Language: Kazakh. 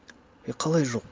е қалай жоқ